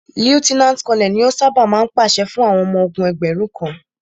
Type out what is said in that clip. Lieutenant Colonel ni o ṣábà máa ń pàṣẹ fún àwọn ọmọ ogún ẹgbẹ̀rún kan.